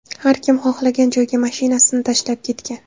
Har kim xohlagan joyga mashinasini tashlab ketgan.